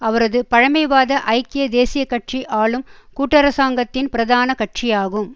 அவரது பழமைவாத ஐக்கிய தேசிய கட்சி ஆளும் கூட்டரசாங்கத்தின் பிரதான கட்சியாகும்